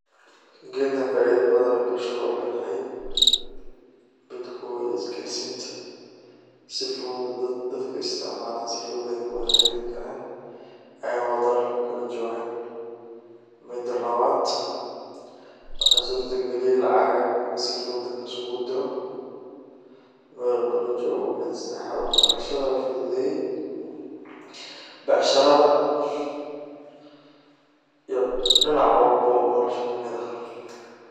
Gedkan faido badan ayey bulshada uledahay. Mida kowaad isgarsinta, dadka isticmalo sii fudud ayey kuwada xiriri karaan ayago dal kaladuwan joga, mida lawad wexey surta galiye in lacagaha sii fudud laiskugudrio mida sadexad wax barashada ayu fududeye becsharada iyo dinac walbo nolasha kamid ah.